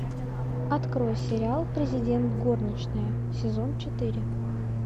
открой сериал президент горничная сезон четыре